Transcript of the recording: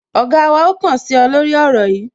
Ọ̀gá wa ó kàn sí ọ, lórí ọ̀rọ̀ yìí